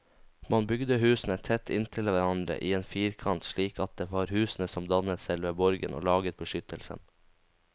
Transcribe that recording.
Man bygde husene tett inntil hverandre i en firkant, slik at det var husene som dannet selve borgen og laget beskyttelsen.